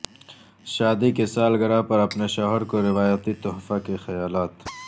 شادی کے سالگرہ پر اپنے شوہر کو روایتی تحفہ کے خیالات